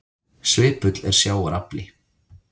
Svipull er sjávar afli.